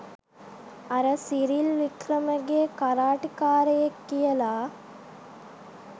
අර Cyril Wickramage karate කාරයෙක් කියලා